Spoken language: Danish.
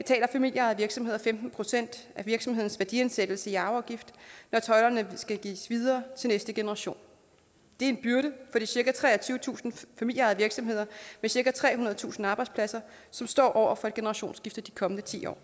familieejede virksomheder femten procent af virksomhedens værdiansættelse i arveafgift når tøjlerne skal gives videre til næste generation det er en byrde for de cirka treogtyvetusind familieejede virksomheder med cirka trehundredetusind arbejdspladser som står over for et generationsskifte de kommende ti år